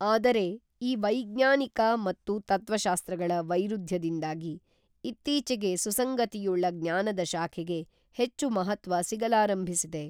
ಆದರೆ ಈ ವೈಜ್ಞಾನಿಕ ಮತ್ತು ತತ್ವಶಾಸ್ತ್ರಗಳ ವೈರುಧ್ಯದಿಂದಾಗಿ ಇತ್ತೀಚಿಗೆ ಸುಸಂಗತಿಯುಳ್ಳ ಜ್ಞಾನದ ಶಾಖೆಗೆ ಹೆಚ್ಚು ಮಹತ್ವ ಸಿಗಲಾರಂಭಿಸಿದೆ.